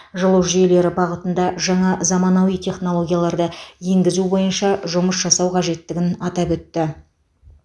жылу жүйелері бағытында жаңа заманауи технологияларды енгізу бойынша жұмыс жасау қажеттігін атап өтті